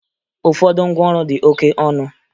Ụfọdụ ngwaọrụ dị oke ọnụ